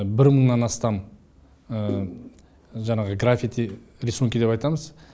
бір мыңнан астам жаңағы графити рисунки деп айтамыз